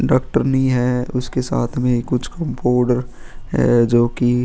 Doctor नहीं है उसके साथ में कुछ कंपाउडर है जो कि.